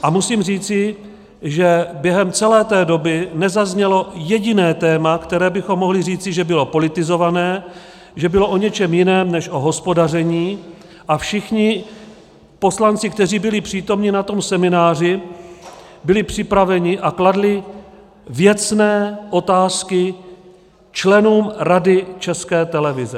A musím říci, že během celé té doby nezaznělo jediné téma, které bychom mohli říci, že bylo politizované, že bylo o něčem jiném než o hospodaření, a všichni poslanci, kteří byli přítomni na tom semináři, byli připraveni a kladli věcné otázky členům Rady České televize.